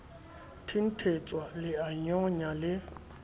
thenthetswa le a nyonya le